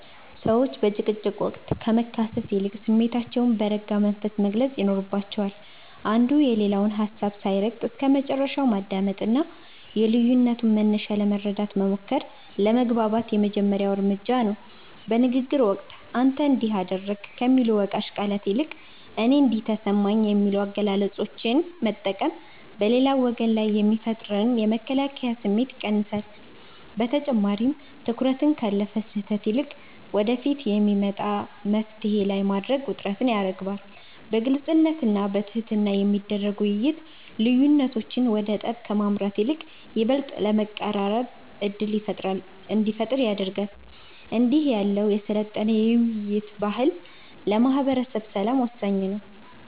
ሰዎች በጭቅጭቅ ወቅት ከመካሰስ ይልቅ ስሜታቸውን በረጋ መንፈስ መግለጽ ይኖርባቸዋል። አንዱ የሌላውን ሀሳብ ሳይረግጥ እስከመጨረሻው ማዳመጥና የልዩነቱን መነሻ ለመረዳት መሞከር ለመግባባት የመጀመሪያው እርምጃ ነው። በንግግር ወቅት "አንተ እንዲህ አደረግክ" ከሚሉ ወቃሽ ቃላት ይልቅ "እኔ እንዲህ ተሰማኝ" የሚሉ አገላለጾችን መጠቀም በሌላው ወገን ላይ የሚፈጠርን የመከላከያ ስሜት ይቀንሳል። በተጨማሪም፣ ትኩረትን ካለፈ ስህተት ይልቅ ወደፊት በሚመጣ መፍትሔ ላይ ማድረግ ውጥረትን ያረግባል። በግልጽነትና በትህትና የሚደረግ ውይይት፣ ልዩነቶች ወደ ጠብ ከማምራት ይልቅ ይበልጥ ለመቀራረብ ዕድል እንዲፈጥሩ ያደርጋል። እንዲህ ያለው የሰለጠነ የውይይት ባህል ለማህበረሰብ ሰላም ወሳኝ ነው።